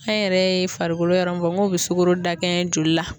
An yɛrɛ ye farikolo yɔrɔ min bɔ k'o be suooro dakɛɲɛ joli la